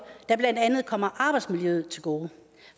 der blandt andet kommer arbejdsmiljøet til gode